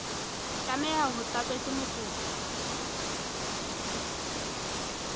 tlameha ho tlatswa ke mokopi